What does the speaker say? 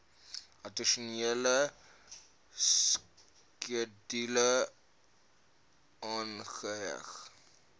addisionele skedule aangeheg